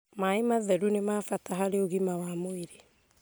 Maĩ matheru nĩ ma bata harĩ ũgima wa mwĩrĩ